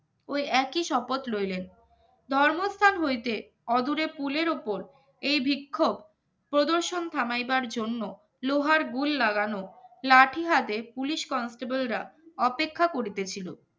ওই একই শপথ রইলেন ধর্মস্থান হইতে অজরে পুলের ওপর এই বিক্ষোভ প্রদর্শন থামাইবার জন্য লোহার গুড় লাগানো লাঠি হাতে পুলিশ constable রা অপেক্ষা করতেছিল